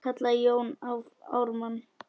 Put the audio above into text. kallaði Jón Ármann.